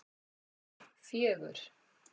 fjögur